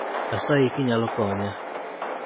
asayi kinyalo konya